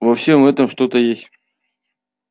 во всём этом что-то есть